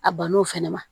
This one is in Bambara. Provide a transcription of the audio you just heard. A ban'o fɛnɛ ma